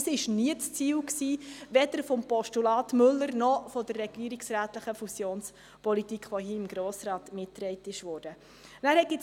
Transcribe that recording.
Dies war nie ein Ziel, weder des Postulats Müller noch der regierungsrätlichen Fusionspolitik, die hier vom Grossen Rat mitgetragen worden wurde.